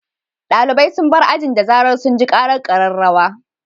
Dalibai sun bar ajin da zarar sun ji karar kararrawa.